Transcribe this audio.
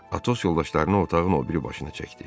Atos yoldaşlarını otağın o biri başına çəkdi.